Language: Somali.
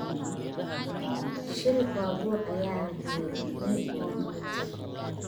Shil baabuur ayaa la helay nin mooto watay